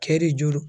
Kɛ de jor'o